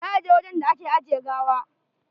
Za a je wajen da ake ajiye gawa?